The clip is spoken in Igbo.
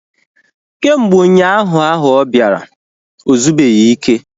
Kemgbe ụnyaahụ ahụ ọ bịara, ozubeghi ike